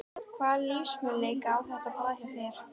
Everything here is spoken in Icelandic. Hvaða lífsmöguleika á þetta blað hjá þér?